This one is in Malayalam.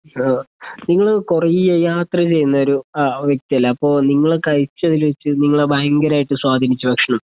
ആ നിങ്ങള് കുറേ യാത്ര ചെയ്യുന്ന ഒരു അ വ്യക്തിയല്ലേ? അപ്പോ നിങ്ങള് കഴിച്ചതില് വെച്ച് നിങ്ങളെ ഭയങ്കരമായിട്ട് സ്വാധീനിച്ച ഭക്ഷണം